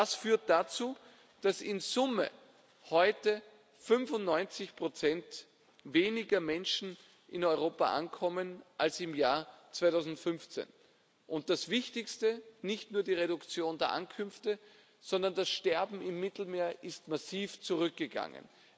Das führt dazu, dass in Summe heute 95 weniger Menschen in Europa ankommen als im Jahr 2015. Das Wichtigste Nicht nur die Anzahl der Ankünfte, sondern das Sterben im Mittelmeer ist massiv zurückgegangen.